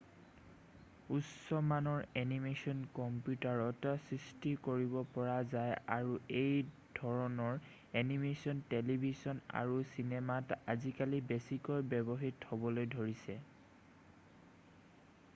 উচ্চমানৰ এনিমেশ্বন কম্পিউটাৰত সৃষ্টি কৰিব পৰা যায় আৰু এই ধৰণৰ এনিমেশ্বন টেলিভিছন আৰু চিনেমাত আজিকালি বেছিকৈ ব্যৱহৃত হ'বলৈ ধৰিছে